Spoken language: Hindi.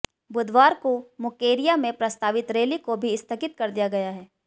बुधवार को मुकेरियां में प्रस्तावित रैली को भी स्थगित कर दिया गया है